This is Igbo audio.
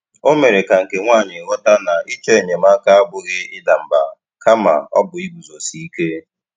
O mere ka nke nwaanyị ghọta na ịchọ enyemaka abụghị ịda mba, kama ọ bụ iguzosi ike.